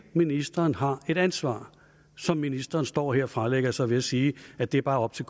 ministeren har et ansvar som ministeren står her og fralægger sig ved at sige at det bare er op til